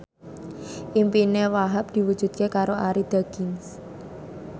impine Wahhab diwujudke karo Arie Daginks